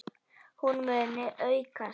Hún muni aukast!